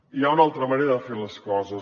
hi ha una altra manera de fer les coses